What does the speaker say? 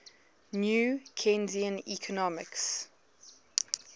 new keynesian economics